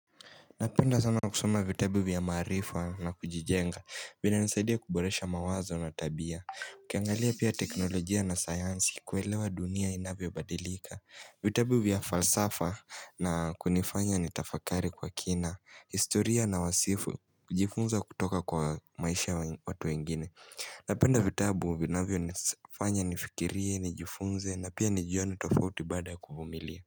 Napenda sana na kusoma vitabu vya maarifa na kujijenga Vinanisaidia kuboresha mawazo na tabia Ukiangalia pia teknolojia na sayansi kuelewa dunia inavyo badilika vitabu vya falsafa na kunifanya nitafakari kwa kina historia na wasifu ujifunza kutoka kwa maisha watu wengine Napenda vitabu vinavyo nifanya nifikirie, nijifunze na pia nijione tofauti baada kuvumilia.